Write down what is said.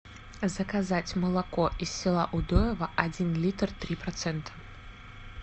заказать молоко из села удоево один литр три процента